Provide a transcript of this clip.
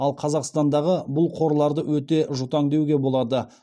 ал қазақстандағы бұл қорларды өте жұтаң деуге болады